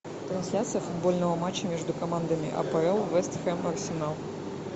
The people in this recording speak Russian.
трансляцию футбольного матча между командами апл вест хэм арсенал